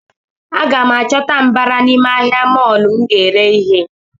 A gam chọta mbara n’ime ahịa molọ m ga ere ihe